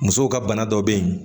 Musow ka bana dɔ bɛ yen